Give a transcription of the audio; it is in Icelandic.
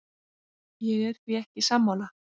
Ég er því ekki sammála.